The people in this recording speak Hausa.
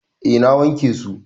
Eh na wanke su.